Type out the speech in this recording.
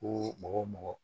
Ko mɔgɔ o mɔgɔ